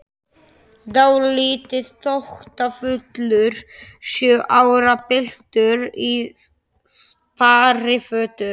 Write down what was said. Dálítið þóttafullur sjö ára piltur í sparifötum.